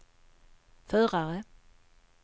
förare